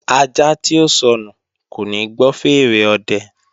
Ajá tí ó sọnù kò ní gbọ́ fèèrè ọ̀dẹ